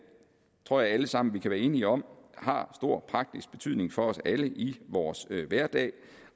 tror jeg alle sammen vi kan være enige om har stor praktisk betydning for os alle i vores hverdag